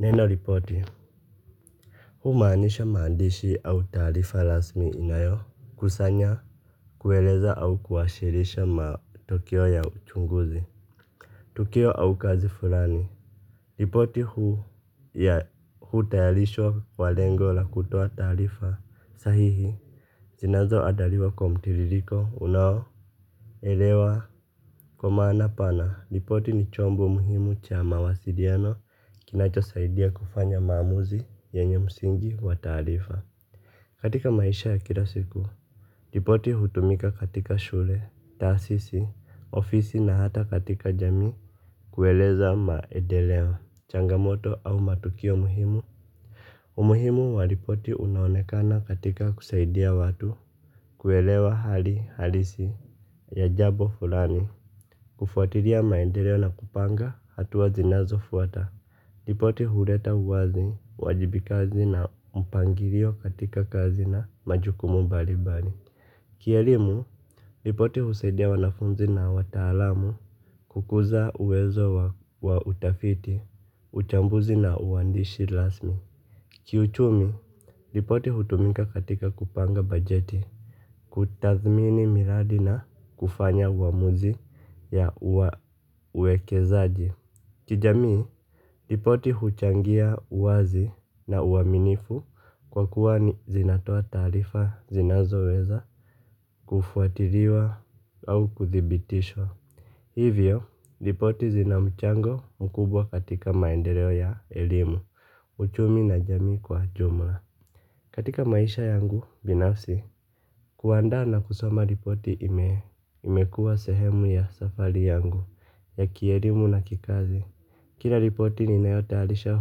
Neno ripoti. Humaanisha maandishi au taarifa rasmi inayokusanya kueleza au kuwasilisha matukio ya uchunguzi. Tukio au kazi fulani. Ripoti hu ya hutayarishwa kwa lengo la kutoa taarifa sahihi zinazo andaliwa kwa mtiririko unao. Elewa kwa maana pana, ripoti ni chombo muhimu cha mawasiliano kinachosaidia kufanya maamuzi yenye msingi wa taarifa. Katika maisha ya kila siku, ripoti hutumika katika shule, taasisi, ofisi na hata katika jamii kueleza maendeleo, changamoto au matukio muhimu. Umuhimu wa ripoti unaonekana katika kusaidia watu kuelewa hali halisi ya jambo fulani kufuatilia maendeleo na kupanga hatua zinazofuata. Ripoti huleta uwazi, uwajibikazi na mpangilio katika kazi na majukumu mbali mbali. Kielimu, ripoti husaidia wanafunzi na wataalamu kukuza uwezo wa utafiti, uchambuzi na uwandishi rasmi. Kiuchumi, ripoti hutumika katika kupanga bajeti, kutathmini miradi na kufanya uamuzi ya uwekezaji. Kijamii, ripoti huchangia uwazi na uaminifu kwa kuwa zinatoa taarifa zinazoweza kufuatiliwa au kuthibitishwa. Hivyo, ripoti zina mchango mkubwa katika maendeleo ya elimu. Uchumi na jamii kwa jumla. Katika maisha yangu, binafsi, kuandaa na kusoma ripoti imekuwa sehemu ya safari yangu ya kielimu na kikazi. Kila ripoti ninayotayarisha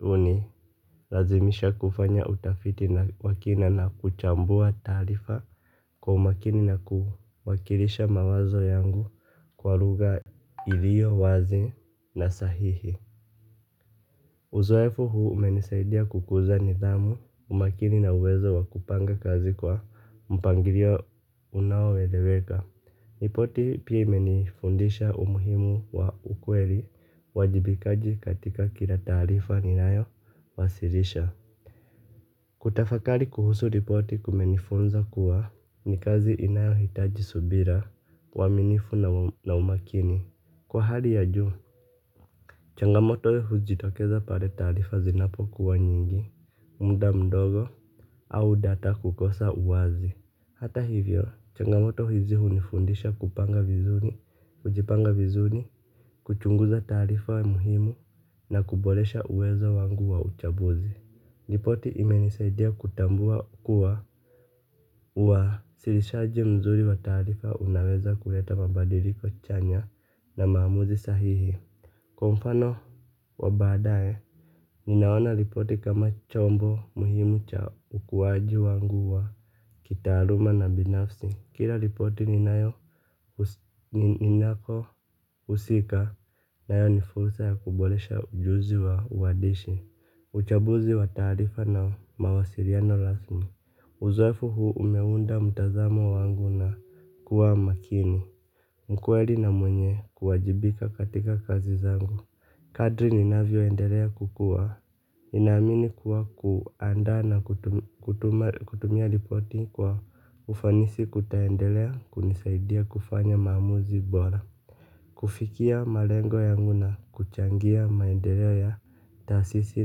hunilazimisha kufanya utafiti wa kina na kuchambua taarifa kwa umakini na kuwakilisha mawazo yangu kwa lugha iliyo wazi na sahihi. Uzoefu huu umenisaidia kukuza nidhamu, umakini na uwezo wa kupanga kazi kwa mpangilio unaoeleweka. Ripoti pia imenifundisha umuhimu wa ukweli uwajibikaji katika kila taarifa ninayo wasilisha. Kutafakari kuhusu ripoti kumenifunza kuwa ni kazi inayohitaji subira uaminifu na umakini. Kwa hali ya juu, changamoto hujitokeza pale taarifa zinapokuwa nyingi, muda mdogo, au data kukosa uwazi. Hata hivyo, changamoto hizi hunifundisha kupanga vizuri, kujipanga vizuri, kuchunguza taarifa muhimu, na kuboresha uwezo wangu wa uchambuzi. Ripoti imenisaidia kutambua kuwa uwasilishaji mzuri wa taarifa unaweza kuleta mabadiliko chanya na maamuzi sahihi. Kwa mfano wa baadae, ninaona ripoti kama chombo muhimu cha ukuwaji wangu wa kitaaluma na binafsi. Kila ripoti ninapohusika nayo ni fursa ya kuboresha ujuzi wa uhandishi. Uchambuzi wa taarifa na mawasiliano rasmi. Uzoefu huu umeunda mtazamo wangu na kuwa makini mkweli na mwenye kuwajibika katika kazi zangu. Kadri ninavyoendelea kukua ninamini kuwa kuandaa na kutumia ripoti kwa ufanisi kutaendelea kunisaidia kufanya maamuzi bora kufikia malengo yangu na kuchangia maendeleo ya taasisi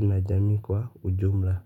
na jamii kwa ujumla.